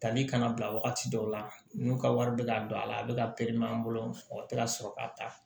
Tali kana bila wagati dɔw la n'u ka wari bɛ ka don a la a bɛ ka pereme an bolo o tɛ ka sɔrɔ ka taa